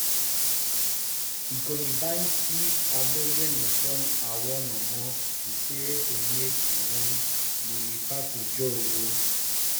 ìkọ́ni báńkì agbègbè ń fún àwọn ọmọ níṣìírí tó yẹ kí wọ́n mọ nípa tọ́jú owó